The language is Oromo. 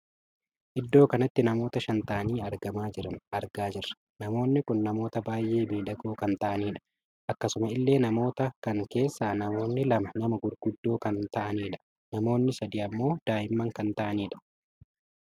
Iddoo kanatti namoota shan taa'anii argamaa jiran argaa jirra. namoonni kun namoota baay'ee miidhagoo kan ta'anidha. akkasuma illee namoota kan keessaa namoonni lama nama gurguddoo kan taa'anidha. namoonni sadii ammoo daa'imman kan taa'aniidha.